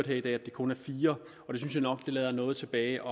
hørt at det kun er fire og det synes jeg nok lader noget tilbage